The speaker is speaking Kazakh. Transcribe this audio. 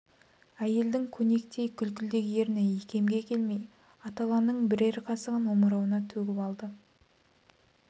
әйелдің көнектей күлкілдек ерні икемге келмей аталаның бірер қасығын омырауына төгіп алды